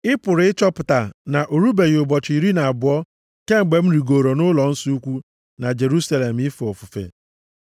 Ị pụrụ ịchọpụta na o rubeghị ụbọchị iri na abụọ kemgbe m rigooro nʼụlọnsọ ukwu na Jerusalem ife ofufe.